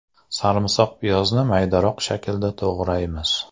Sarimsoqpiyozni maydaroq shaklda to‘g‘raymiz.